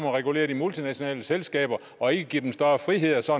at regulere de multinationale selskaber og ikke give dem større friheder så